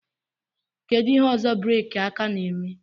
Kedu ihe ọzọ breeki aka na-eme